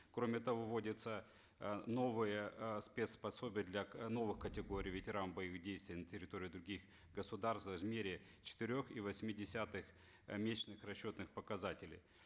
кроме того вводятся э новые э спец пособия для новых категорий ветеран боевых действий на территории других государств в размере четырех и восьми десятых э месячных расчетных показателей